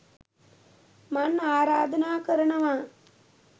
මං ආරාධනා කරනවා